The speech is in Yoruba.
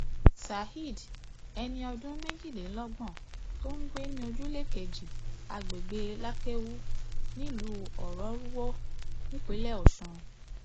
saheed ẹni ọdún méjìlélọgbọn tó ń gbé ní ojúlé kejì àgbègbè lakewu nílùú ọrọrùwò nípínlẹ ọsùn